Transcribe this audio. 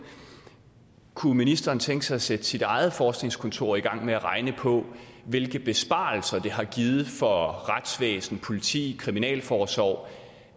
kunne ministeren tænke sig at sætte sit eget forskningskontor i gang med at regne på hvilke besparelser det har givet for retsvæsen politi kriminalforsorg